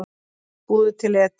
Búðu til edik